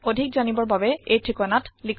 অধিক তঠ্যৰ বাবে contactspoken tutorialorg লৈ লিখিব